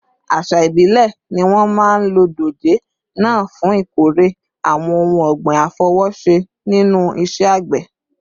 Àṣà ìbílẹ̀ ni wọ́n máa ń lo dòjé náà fún ìkórè àwọn ohun ọ̀gbìn àfọwọ́ṣe nínú iṣẹ́ àgbẹ̀